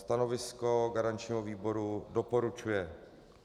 Stanovisko garančního výboru: doporučuje.